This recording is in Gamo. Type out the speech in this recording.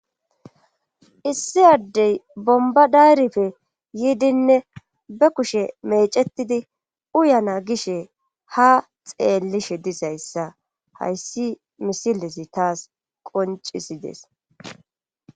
Issiyaddey bomba dayrife yiidinne be kushe meecetidi uyana gishe ha xeellishe dizayssa hayssi misilesi taas qoncisides.